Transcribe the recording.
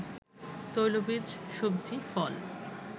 তৈলবীজ, সব্জি, ফল